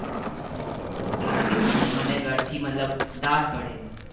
ક્યારે થી મને ઘર થી મતલબ દાટ પડે એમાં